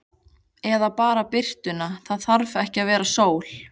Eða bara birtuna, það þarf ekki að vera sól.